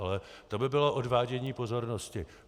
Ale to by bylo odvádění pozornosti.